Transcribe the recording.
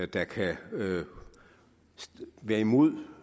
der kan være imod